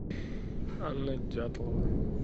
анна дятлова